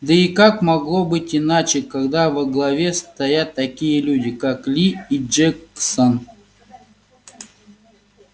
да и как могло быть иначе когда во главе стоят такие люди как ли и джексон